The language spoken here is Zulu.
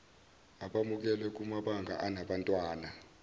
abamukelwe kumabanga anabantwana